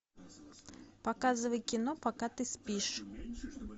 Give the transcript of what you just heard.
показывай кино пока ты спишь